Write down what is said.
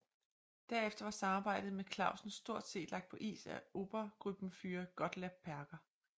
Derefter var samarbejdet med Clausen stort set lagt på is af Obergruppenführer Gottlob Berger